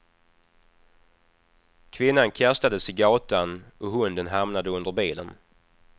Kvinnan kastades i gatan och hunden hamnade under bilen.